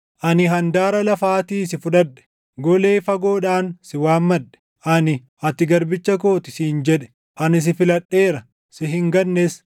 ani handaara lafaatii si fudhadhe; golee fagoodhaan si waammadhe. Ani, ‘Ati garbicha koo ti’ siin jedhe; ani si filadheera; si hin gannes,